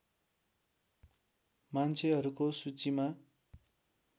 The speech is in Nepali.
मान्छेहरूको सूचीमा